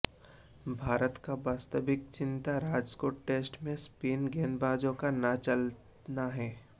भारत की वास्तविक चिंता राजकोट टेस्ट में स्पिन गेंदबाजों का न चलना है